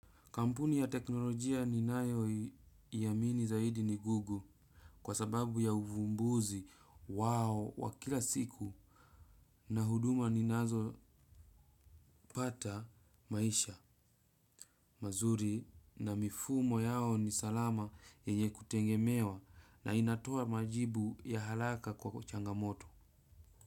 Kampuni ya teknolojia ninayo iamini zaidi ni google kwa sababu ya uvumbuzi wao wa kila siku na huduma ninazo pata maisha, mazuri na mifumo yao ni salama yeye kutengemewa na inatoa majibu ya halaka kwa kuchangamoto.